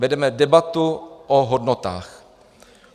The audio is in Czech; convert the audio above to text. Vedeme debatu o hodnotách.